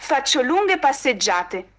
поставь джаз